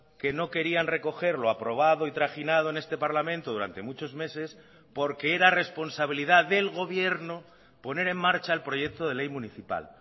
que no querían recogerlo aprobado y trajinado en este parlamento durante muchos meses porque era responsabilidad del gobierno poner en marcha el proyecto de ley municipal